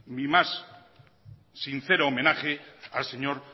mi más sincero homenaje al señor